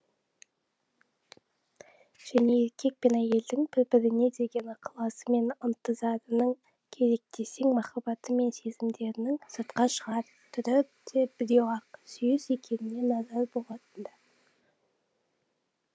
және еркек пен әйелдің бір біріне деген ықыласы мен ынтызарының керек десең махаббаты мен сезімдерінің сыртқа шығар түрі де біреу ақ сүйіс екеніне наразы болатын ды